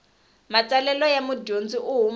matsalelo ya mudyondzi u huma